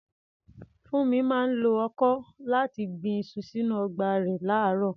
Funmi máa ń lo ọkọ́ láti gbin iṣu sínú ọgbà rẹ̀ láàárọ̀.